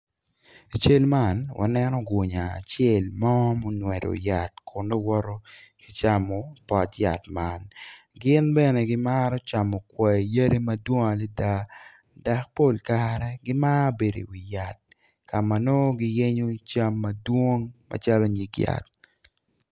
I cal man waneno gunya acel mo ma ongwado yat kun nongo woto ki camo pot yat man gin bene gimaro camo kwai yadi madwong adada dok pol kare gimaro bedo iwi yat ka ma nongo giyenyo nyig cam madwong macalo nyig yat.